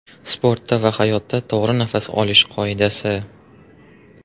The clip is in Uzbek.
Sportda va hayotda to‘g‘ri nafas olish qoidasi.